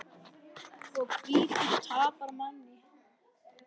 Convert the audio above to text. Og hvítur tapar manni.